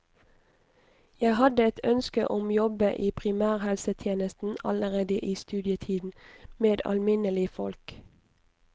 Jeg hadde et ønske om jobbe i primærhelsetjenesten allerede i studietiden, med alminnelig folk.